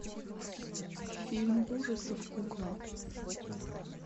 фильм ужасов кукла